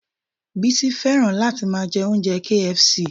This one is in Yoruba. Bísí fẹ́ràn láti máa jẹ oúnjẹ KFC